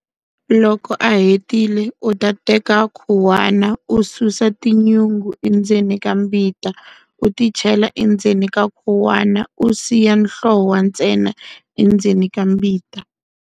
Loko a hetile u ta teka khuwana u susa tinyungu endzeni ka mbita u ti chela endzeni ka khuwana u siya nhlowa ntsena endzeni ka mbita.